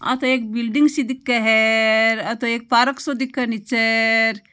आ तो एक बिल्डिग सी दिखे हेर आ तो एक पार्क साे दिखे नीचे र।